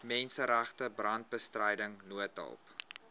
menseregte brandbestryding noodhulp